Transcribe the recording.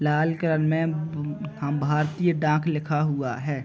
लाल colour में ब भारतीय डाक लिखा हुआ है।